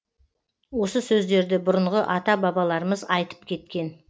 осы сөздерді бұрынғы ата бабаларымыз айтып кеткен